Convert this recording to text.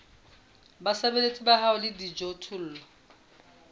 basebeletsi ba hao le dijothollo